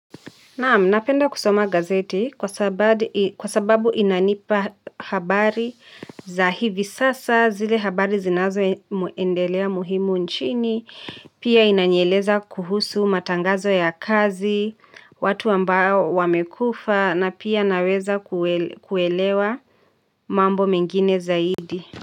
Napenda kusoma gazeti kwa sababu inanipa habari za hivi sasa zile habari zinazo endelea muhimu nchini, pia inanieleza kuhusu matangazo ya kazi, watu ambao wamekufa na pia naweza kuelewa mambo mengine zaidi.